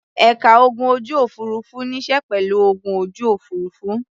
Ẹ̀ka ogun ojú-òfurufú níṣe pẹ̀lú ogun ojú òfurufú.